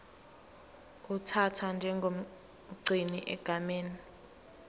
uthathwa njengomgcini egameni